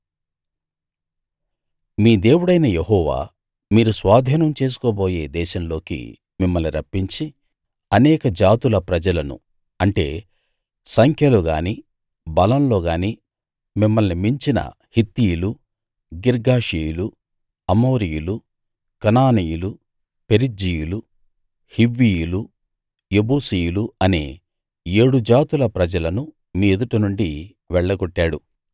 మీ దేవుడైన యెహోవా మీరు స్వాధీనం చేసుకోబోయే దేశంలోకి మిమ్మల్ని రప్పించి అనేక జాతుల ప్రజలను అంటే సంఖ్యలో గాని బలంలో గాని మిమ్మల్ని మించిన హిత్తీయులు గిర్గాషీయులు అమోరీయులు కనానీయులు పెరిజ్జీయులు హివ్వీయులు యెబూసీయులు అనే ఏడు జాతుల ప్రజలను మీ ఎదుట నుండి వెళ్లగొట్టాడు